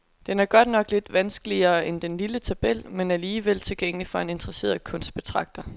Den er godt nok lidt vanskeligere end den lille tabel, men alligevel tilgængelig for en interesseret kunstbetragter.